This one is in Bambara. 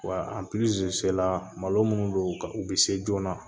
Wa malo minnu don u ka u bɛ se joona